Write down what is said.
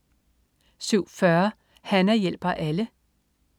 07.40 Hana hjælper alle